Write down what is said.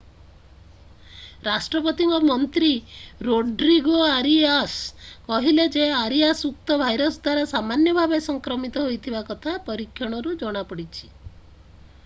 ରାଷ୍ଟ୍ରପତିଙ୍କ ମନ୍ତ୍ରୀ Rodrigo Arias କହିଲେ ଯେ ଆରିଆସ୍ ଉକ୍ତ ଭାଇରସ୍ ଦ୍ୱାରା ସାମାନ୍ୟ ଭାବରେ ସଂକ୍ରମିତ ହୋଇଥିବା କଥା ପରୀକ୍ଷଣରୁ ଜଣା ପଡିଛି